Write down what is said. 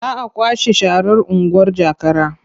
Za a kwashe sharar unguwar Jakara.